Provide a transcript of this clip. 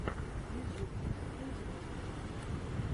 ютуб открой демастера